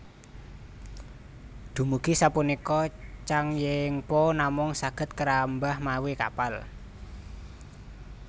Dumugi sapunika Changnyeongpo namung saged kerambah mawi kapal